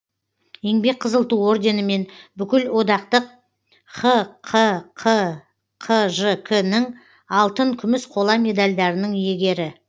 еңбек қызыл ту орденімен бүкілодақтық хқққжк нің алтын күміс қола медальдарының иегері